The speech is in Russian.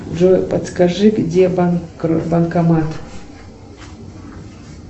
джой подскажи где банкомат